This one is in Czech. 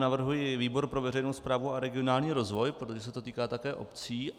Navrhuji výbor pro veřejnou správu a regionální rozvoj, protože se to týká také obcí.